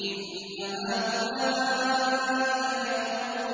إِنَّ هَٰؤُلَاءِ لَيَقُولُونَ